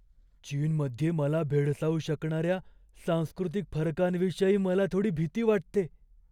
चीनमध्ये मला भेडसावू शकणाऱ्या सांस्कृतिक फरकांविषयी मला थोडी भीती वाटते.